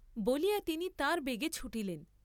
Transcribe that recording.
বলিয়া তিনি তাঁর বেগে ছুটিলেন।